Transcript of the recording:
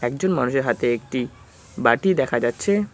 একজন মানুষের হাতে একটি বাটি দেখা যাচ্ছে।